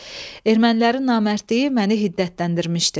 Ermənilərin namərdliyi məni hiddətləndirmişdi.